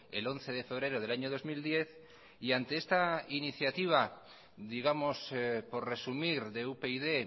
el once de febrero del año dos mil diez y ante esta iniciativa digamos por resumir de upyd